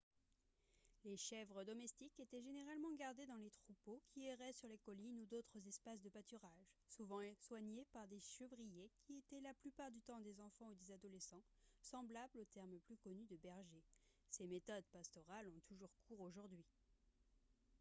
les chèvres domestiques étaient généralement gardées dans les troupeaux qui erraient sur les collines ou d'autres espaces de pâturage souvent soignées par des chevriers qui étaient la plupart du temps des enfants ou des adolescents semblables au terme plus connu de bergers ces méthodes pastorales ont toujours cours aujourd'hui